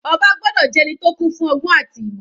Ọba gbọ́dọ̀ jẹ́ ẹni tó kún fún ọgbọ́n àti ìmọ̀.